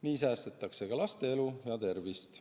Nii säästetakse ka laste elu ja tervist.